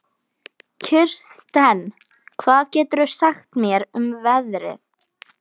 Kirsten, hvað geturðu sagt mér um veðrið?